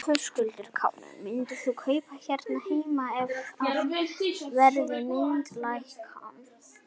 Höskuldur Kári: Myndir þú kaupa hér heima ef að verð myndi lækka?